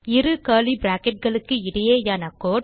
இரு கர்லி bracketகளுககு இடையேயான கோடு